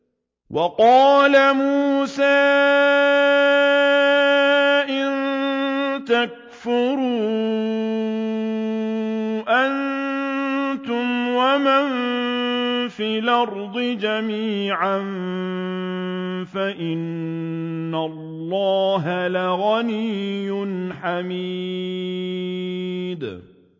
وَقَالَ مُوسَىٰ إِن تَكْفُرُوا أَنتُمْ وَمَن فِي الْأَرْضِ جَمِيعًا فَإِنَّ اللَّهَ لَغَنِيٌّ حَمِيدٌ